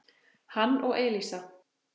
hann og Elísa.